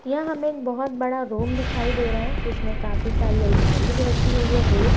यह हमे एक बहुत बड़ा रूम दिखाई दे रहा है जिसमे काफी सारी अलमारीज रखी हुई है रैक --